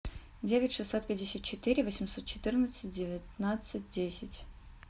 девять шестьсот пятьдесят четыре восемьсот четырнадцать девятнадцать десять